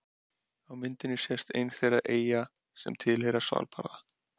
Á myndinni sést ein þeirra eyja sem tilheyrir Svalbarða.